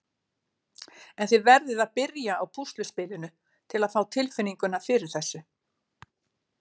En þið verðið að byrja á púsluspilinu til að fá tilfinninguna fyrir þessu.